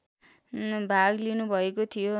भाग लिनुभएको थियो